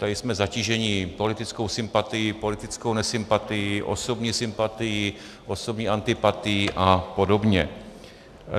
Tady jsme zatíženi politickou sympatií, politickou nesympatií, osobní sympatií, osobní antipatií a podobně.